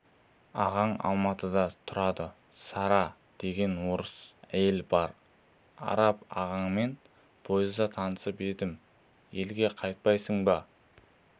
ағаң алматыда тұрады сара деген орыс әйелі бар араб ағаңмен пойызда танысып едім елге қайтпайсың ба